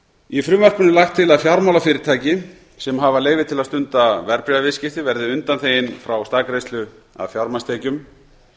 í frumvarpinu er lagt til að fjármálafyrirtæki sem hafa leyfi til að stunda verðbréfaviðskipti verði undanþegin frá staðgreiðslu af fjármagnstekjum